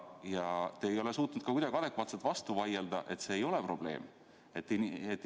Ja te ei ole suutnud kuidagi adekvaatselt vastu vaielda, et see ei ole probleem.